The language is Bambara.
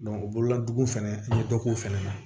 o bolola dugu fɛnɛ n ye dɔ k'o fɛnɛ na